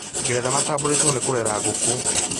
Ngeretha matambũrĩtwo nĩ kũrera ngũkũ